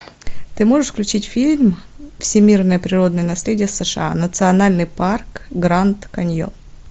ты можешь включить фильм всемирное природное наследие сша национальный парк гранд каньон